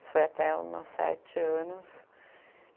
Isso foi até os meus sete anos.